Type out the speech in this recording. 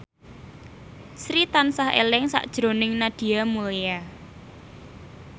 Sri tansah eling sakjroning Nadia Mulya